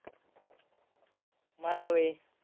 मला होय.